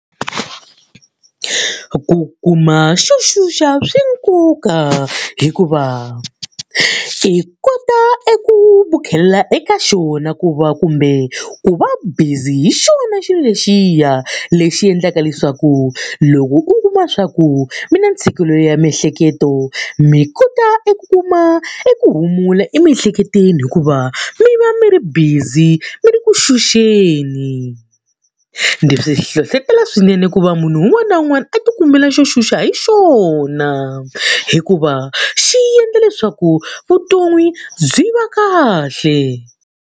Ku kuma xo xuxa swi nkoka hikuva i kota e kota ku vukhela eka xona ku va kumbe ku va busy hi xona xilo lexiya. Lexi endlaka leswaku loko u kuma leswaku mi na ntshikelelo ya miehleketo mi kota eku kuma eku humula emiehleketweni hikuva mi va mi ri busy mi ri ku xuxeni. ndzi swi hlohletela swinene ku va munhu un'wana na un'wana a tikumela xo xuxa hi xona, hikuva xi endla leswaku vutomi byi va kahle